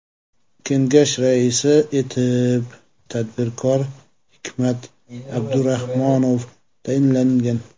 Kengash raisi etib tadbirkor Hikmat Abdurahmonov tayinlangan.